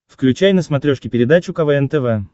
включай на смотрешке передачу квн тв